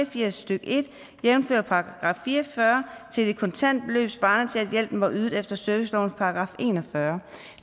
og firs stykke en jævnfør § fire og fyrre til et kontant beløb svarende til at hjælpen var ydet efter servicelovens § en og fyrre